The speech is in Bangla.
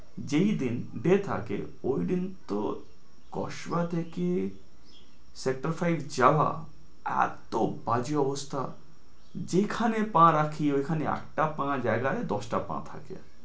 যেদিন day থাকে ওইদিন তো কসবা থেকে sector five যাওয়া এত্তো বাজে অবস্থা যেখানে পা রাখি ওইখানে একটা পায়ের জায়গায় দশটা পা থাকে।